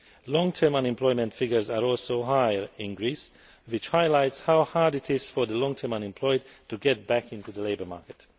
Long term unemployment figures are also higher in Greece, which highlights how hard it is for the long term unemployed to get back into the labour market.